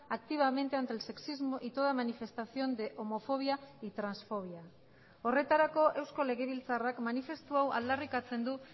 activamente ante el sexismo y toda manifestación de homofobia y transfobia horretarako eusko legebiltzarrak manifestu hau aldarrikatzen du